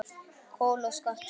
Kol og skattur